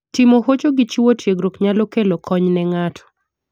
Timo hocho gi chiwo tiegruok nyalo kelo kony ne ng'ato.